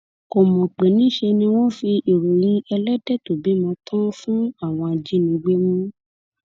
kò mọ pé níṣẹ ni wọn fi ìròyìn elédè tó bímọ tán an fún àwọn ajínigbé mú